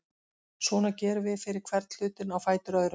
Svona gerum við fyrir hvern hlutinn á fætur öðrum.